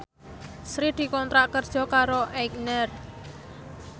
Sri dikontrak kerja karo Aigner